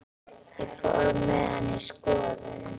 Ég fór með hana í skoðun.